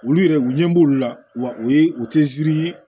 Olu yɛrɛ u ɲɛ b'olu la wa o ye u tɛ ye